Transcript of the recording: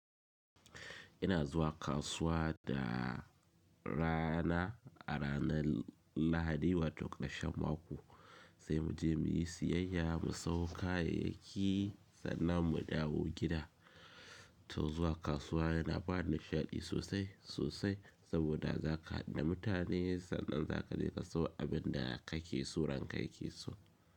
Ina zuwa kasuwa da rana a ranar Lahadi wato ƙashen mako sai muje muyi siyayya mu sawo kayayyaki sannan mu dawo gida. To zuwa kasuwa yana bani nishaɗi sosai sosai saboda za ka haɗu da mutane sannan za ka je ka sawo abin da kake so ranka yake so.